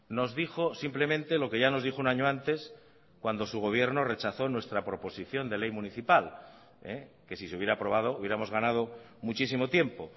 nos dijo simplemente lo que ya nos dijo un año antes cuando su gobierno rechazó nuestra proposición de ley municipal que si se hubiera aprobado hubiéramos ganado muchísimo tiempo